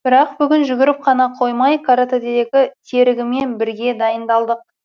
бірақ бүгін жүгіріп қана қоймай каратэдегі серігіммен бірге дайындалдық